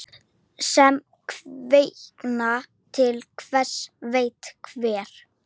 Sem kvikna til hver veit hvers.